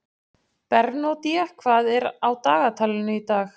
Bernódía, hvað er á dagatalinu í dag?